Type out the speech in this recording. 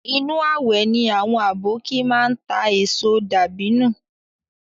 Inu awẹ ni àwọn aboki máa ń ta èso dàbínù